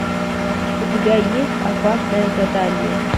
у тебя есть опасное задание